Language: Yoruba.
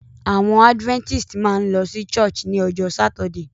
Àwon adventist máa n lo sí church ni ojó Saturday